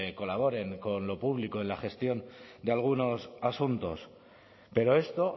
colaboren con lo público en la gestión de algunos asuntos pero esto